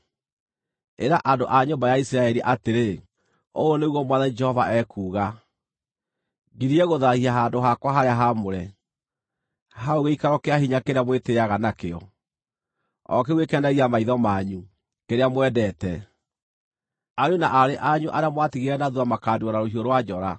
Ĩra andũ a nyũmba ya Isiraeli atĩrĩ, ‘Ũũ nĩguo Mwathani Jehova ekuuga: Ngirie gũthaahia handũ-hakwa-harĩa-haamũre, hau gĩikaro kĩa hinya kĩrĩa mwĩtĩĩaga nakĩo, o kĩu gĩkenagia maitho manyu, kĩrĩa mwendete. Ariũ na aarĩ anyu arĩa mwatigire na thuutha makaaniinwo na rũhiũ rwa njora.